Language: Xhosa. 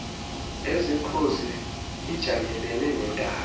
esekhosi ijamelene nentaba